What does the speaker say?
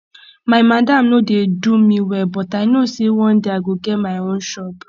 my madam no dey do me well but i know sey one day i go get my own shop